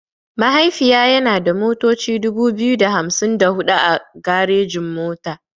Mahaifiya yana da motoci dubu biyu da hamsin da huɗu a garejin mota.